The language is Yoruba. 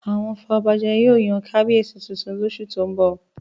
Àwọn afọbajẹ yóò yan kábíyèsí tuntun lóṣù tó ń bọ̀